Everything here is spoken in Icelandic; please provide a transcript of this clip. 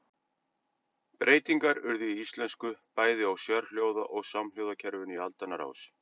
Breytingar urðu í íslensku bæði á sérhljóða- og samhljóðakerfinu í aldanna rás.